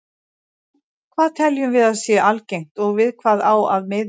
Hvað teljum við að sé algengt og við hvað á að miða?